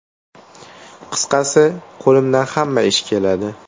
Qisqasi, qo‘limdan hamma ish keladi.